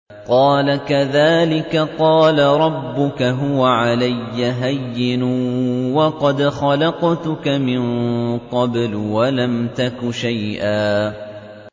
قَالَ كَذَٰلِكَ قَالَ رَبُّكَ هُوَ عَلَيَّ هَيِّنٌ وَقَدْ خَلَقْتُكَ مِن قَبْلُ وَلَمْ تَكُ شَيْئًا